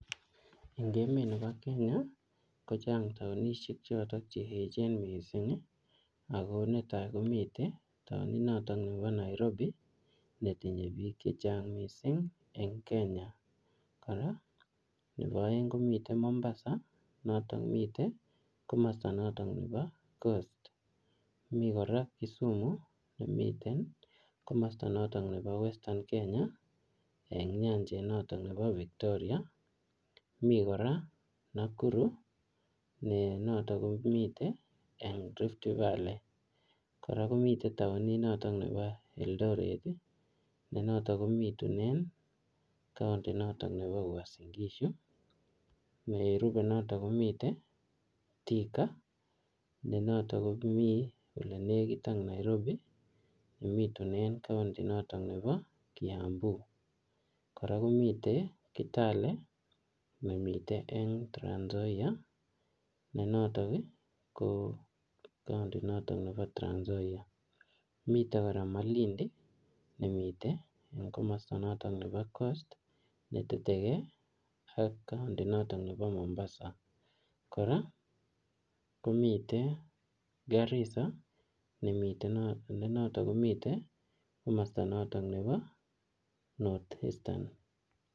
Eng emet nebo Kenya, kochang taunishek chotok che echen missing, ako netai komitei taunit notok nebo Nairobi, netinye biik chechang missing eng Kenya. Kora nebo aeng komitei Mombasa, ne notok mitei komasta notok nebo coast. Mi kora Kisumu nemiten komasta notok nebo western Kenya eng nyanjet notok nebo Victoria. Mii kora Nakuru ne notok komite eng Rift Valley. Kora komitei taunit notok nebo Eldoret, ne notok kobitunen kaunti notok nebo Uasin-Gishu. Nerube notok komite Thika, ne notok komii ole nekit ak Nairobi, nebitunen kaunti notok nebo Kiambu. Kora komitei kitale nemitei eng Trans-Nzoia ne notok, ko kaunti notok nebo Trans-Nzoia. Mitei kora Malindi ne mitei komasto notok nebo coast, netetekey ak kaunti notok nebo Mombasa. Kora, komitei Garissa, ne mitei ne notok komitei komasta notok nebo North Eastern